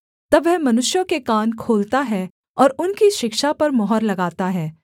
तब वह मनुष्यों के कान खोलता है और उनकी शिक्षा पर मुहर लगाता है